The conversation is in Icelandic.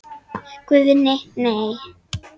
Guðni:. nei.